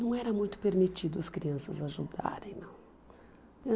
Não era muito permitido as crianças ajudarem, não.